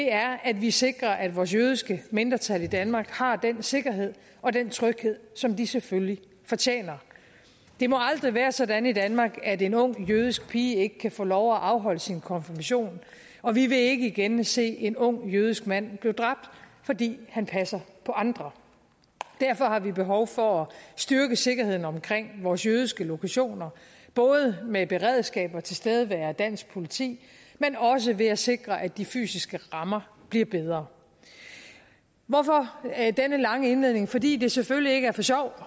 er at vi sikrer at vores jødiske mindretal i danmark har den sikkerhed og den tryghed som de selvfølgelig fortjener det må aldrig være sådan i danmark at en ung jødisk pige ikke kan få lov at afholde sin konfirmation og vi vil ikke igen se en ung jødisk mand blive dræbt fordi han passer på andre derfor har vi behov for at styrke sikkerheden omkring vores jødiske lokationer både med beredskab og tilstedeværelse af dansk politi men også ved at sikre at de fysiske rammer bliver bedre hvorfor denne lange indledning fordi det selvfølgelig ikke er for sjov